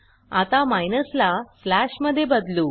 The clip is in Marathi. आता माइनस ला स्लॅश मध्ये बदलू